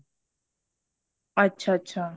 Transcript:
ਅੱਛਾ ਅੱਛਾ ਅੱਛਾ